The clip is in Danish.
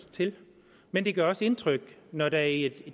til men det gør også indtryk når der i